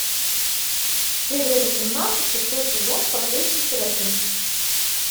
серия восемнадцать шестой сезон последний серафим